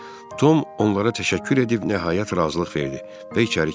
Tom onlara təşəkkür edib nəhayət razılıq verdi və içəri keçdi.